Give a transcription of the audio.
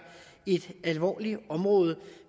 et alvorligt område